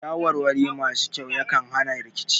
Shawarwari masu kyau yakan hana rikici